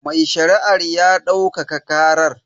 Mai shari'ar ya daukaka karar.